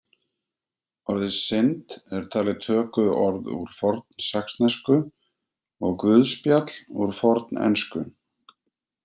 Orðið synd er talið tökuorð úr fornsaxnesku og guðspjall úr fornensku.